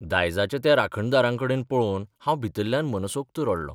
दायजाच्या त्या राखणदारांकडेन पळोवन हांव भितरल्यान मनसोक्त रडलों...